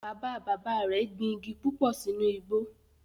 Bàbá bàbá rẹ̀ gbin igi púpò sínú igbó